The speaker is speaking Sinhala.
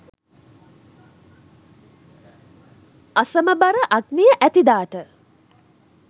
අසමබර අග්නිය ඇති දාට